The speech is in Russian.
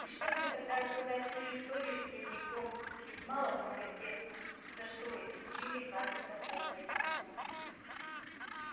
пришлось бы тогда рассказать всю историю с дневником ведь мало кому известно за что исключили хагрида полвека назад